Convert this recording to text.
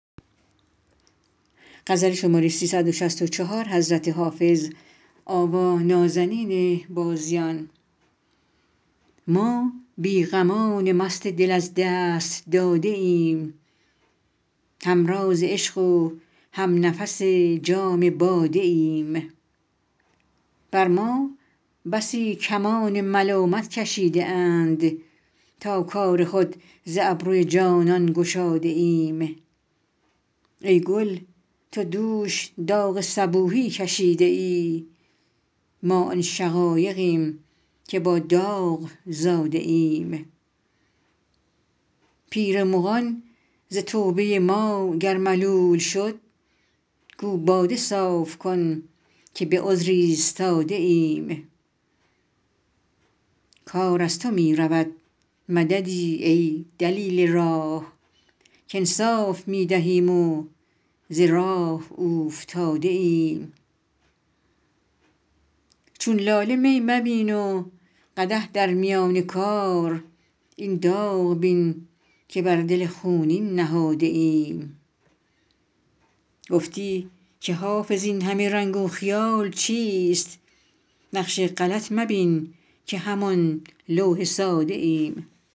ما بی غمان مست دل از دست داده ایم هم راز عشق و هم نفس جام باده ایم بر ما بسی کمان ملامت کشیده اند تا کار خود ز ابروی جانان گشاده ایم ای گل تو دوش داغ صبوحی کشیده ای ما آن شقایقیم که با داغ زاده ایم پیر مغان ز توبه ما گر ملول شد گو باده صاف کن که به عذر ایستاده ایم کار از تو می رود مددی ای دلیل راه کانصاف می دهیم و ز راه اوفتاده ایم چون لاله می مبین و قدح در میان کار این داغ بین که بر دل خونین نهاده ایم گفتی که حافظ این همه رنگ و خیال چیست نقش غلط مبین که همان لوح ساده ایم